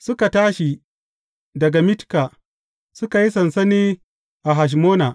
Suka tashi daga Mitka, suka yi sansani a Hashmona.